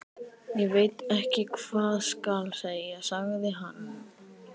Ég veit ekki hvað skal segja sagði hann.